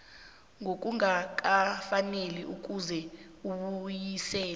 ngokungakafaneli kufuze uwubuyise